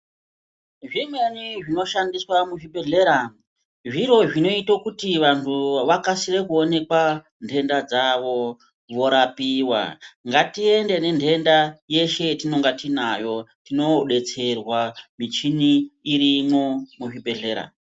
Zvimweni zvinoshandiswa muzvibhehlera, zviro zvinoita kuti vantu vakasire kuonenekwa nhenda dzavo vorapiwa. Ngatiende nenhenda yeshe yatinenge tinayo tinobetserwa, michini irimwo muzvibhehlera.